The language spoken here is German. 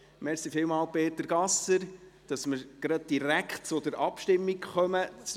Vielen Dank, Peter Gasser, dass wir gerade direkt zur Abstimmung kommen können.